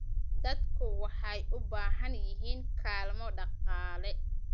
Dadku waxay u baahan yihiin kaalmo dhaqaale.